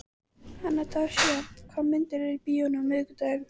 Anastasía, hvaða myndir eru í bíó á miðvikudaginn?